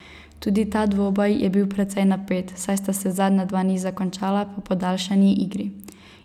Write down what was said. Tudi ta dvoboj je bil precej napet, saj sta se zadnja dva niza končala po podaljšani igri.